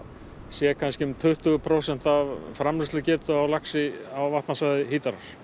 séu um tuttugu prósent af framleiðslugetu á laxi á vatnasvæði Hítarár